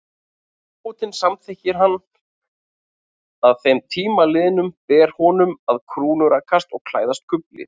Ef ábótinn samþykkir hann að þeim tíma liðnum, ber honum að krúnurakast og klæðast kufli.